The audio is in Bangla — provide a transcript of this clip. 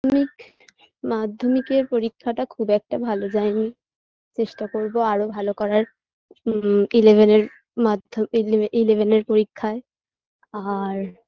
না মাধ্যমিকের পরীক্ষাটা খুব একটা ভালো যায়নি চেষ্টা করবো আরও ভালো করার উমম্ eleven -এর মাধ্য ইলে eleven -এর পরীক্ষায় আর